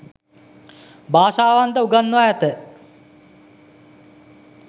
භාෂාවන් ද උගන්වා ඇත.